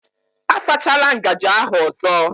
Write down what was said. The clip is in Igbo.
A sachala ngaji ahụ ọzọ